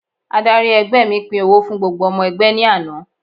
Adárí ẹgbẹ́ mi pín owó fún gbogbo ọmọ ẹgbẹ́ ní àná.